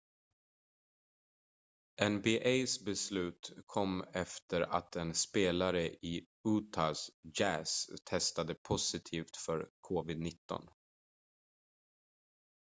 nba:s beslut kom efter att en spelare i utah jazz testade positivt för covid-19